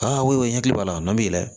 Aa ko i ɲɛ k'a la n'i yɛlɛ